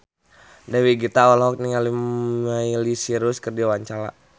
Dewi Gita olohok ningali Miley Cyrus keur diwawancara